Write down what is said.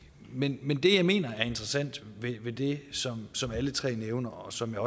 men det jeg mener er interessant ved det som alle tre nævner og som jeg